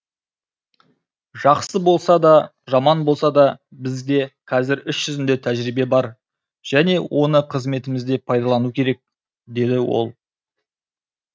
жақсы болса да жаман болса да бізде қазір іс жүзінде тәжірибе бар және оны қызметімізде пайдалану керек деді ол